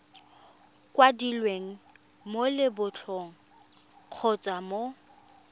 kwadilweng mo lebotlolong kgotsa mo